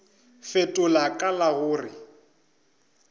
fetola ka la go re